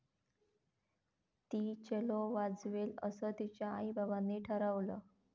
ती चेलो वाजवेल असं तिच्या आईबाबांनी ठरवलं.